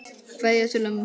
Kveðja til ömmu.